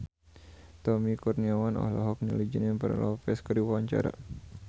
Tommy Kurniawan olohok ningali Jennifer Lopez keur diwawancara